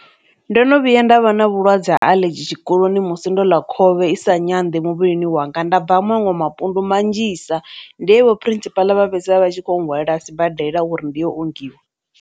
Ndo no vhuya nda vha na vhulwadze ha aḽedzhi tshikoloni musi ndo ḽa khovhe i sa nyanḓi muvhilini wanga, nda bva maṅwe mapundu manzhisa nḓi he vho phurisipaḽa vha fhedzisela vha tshi kho hwalela sibadela uri ndi yo ongiwa.